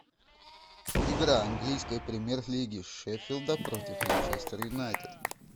игра английской премьер лиги шеффилда против манчестер юнайтед